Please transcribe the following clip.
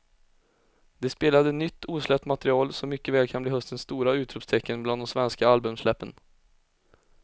De spelade nytt osläppt material som mycket väl kan bli höstens stora utropstecken bland de svenska albumsläppen.